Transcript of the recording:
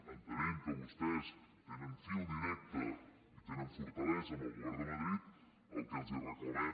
entenent que vostès tenen fil directe i tenen fortalesa amb el govern de madrid el que els reclamem